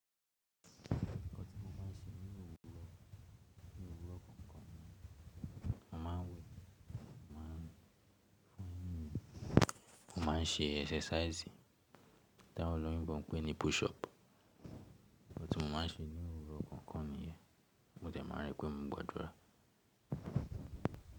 Òkò ti mo ma n ṣe nínú òwúrọ̀, nínú òwúrọ̀ kọọkan ni, mo ma n wẹ̀, mo ma n fún yìn, mo ma n ṣe ẹsẹsáísì. Ti awon oloyinbo pé ni push up. Nkam tí mo ma n ṣe nínú òwúrọ̀ kọọkan nìyẹn. Mo dẹ̀ máa rí pé mo gbàdúrà.